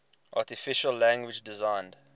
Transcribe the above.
artificial language designed